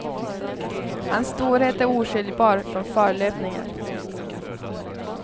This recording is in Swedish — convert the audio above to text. Hans storhet är oskiljbar från förlöpningen.